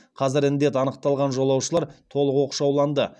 қазір індет анықталған жолаушылар толық оқшауланды